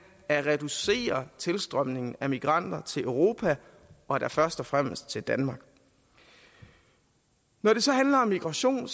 at reducere tilstrømningen af migranter til europa og da først og fremmest til danmark når det så handler om migration er